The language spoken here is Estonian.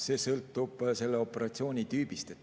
See sõltub operatsiooni tüübist.